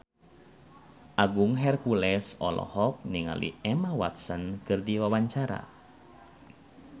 Agung Hercules olohok ningali Emma Watson keur diwawancara